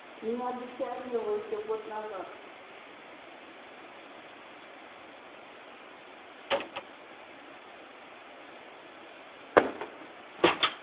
мне обещали его ещё год назад